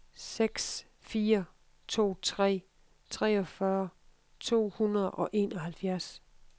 seks fire to tre treogfyrre to hundrede og enoghalvfjerds